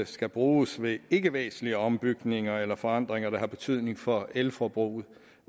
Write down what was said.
skal bruges ved ikkevæsentlige ombygninger eller forandringer der har betydning for elforbruget